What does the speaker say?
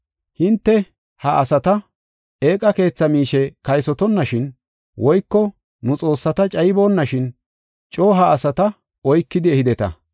Hinte, ha asata eeqa keetha miishe kaysotonashin woyko nu xoossata cayiboonashin coo ha asata oykidi ehideta.